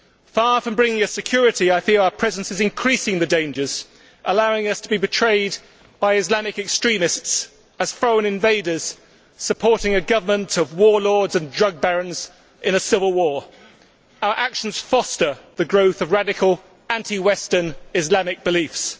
Far from bringing us security, I fear our presence is increasing the dangers, allowing us to be portrayed by Islamist extremists as foreign invaders supporting a government of warlords and drug barons in a civil war. Our actions foster the growth of radical, anti Western Islamic beliefs.